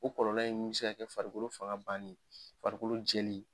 O kɔlɔlɔ in me se ka kɛ farikolo fanga banni ye, farikolo jɛlen ye